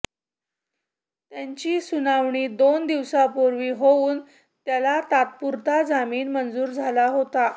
त्याची सुनावणी दोन दिवसांपूर्वी होऊन त्याला तात्पुरता जामीन मंजूर झाला होता